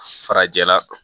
Farajɛla